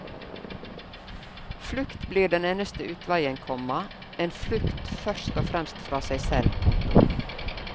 Flukt blir den eneste utveien, komma en flukt først og fremst fra seg selv. punktum